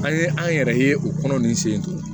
An ye an yɛrɛ ye o kɔnɔ nin sen in to